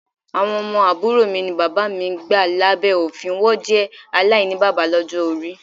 Awọn ọmọ aburo mi ni baba mi gba labẹ ofin, wọn jẹ alainibaba ni ọjọ-ori